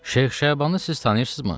Şeyx Şabanı siz tanıyırsınızmı?